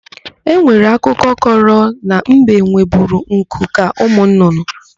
E nwere akụkọ kọrọ na mbe nweburu nku ka ụmụnnụnnụ.